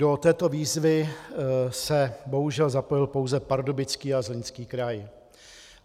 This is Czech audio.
Do této výzvy se bohužel zapojil pouze Pardubický a Zlínský kraj.